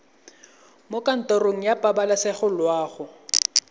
mo kantorong ya pabalesego loago